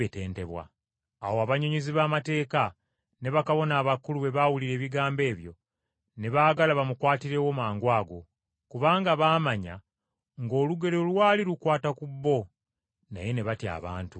Awo abannyonnyozi b’amateeka ne bakabona abakulu bwe baawulira ebigambo ebyo, ne baagala bamukwatirewo mangwago, kubanga baamanya ng’olugero lwali lukwata ku bo. Naye ne batya abantu.